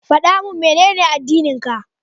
Faɗa min Menene addininka?